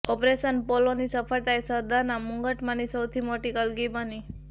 operation પોલોની સફળતા એ સરદારના મુગટમાંની સૌથી મોટી કલગી બની